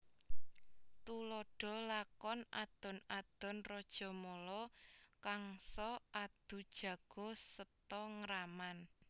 Tuladha lakon Adon adon Rajamala Kangsa Adu Jago Seta Ngraman